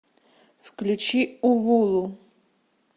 включи увулу